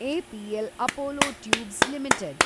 APL Apollo tubes limited